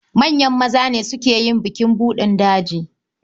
Manyan maza ne suke yin bukin buɗin daji.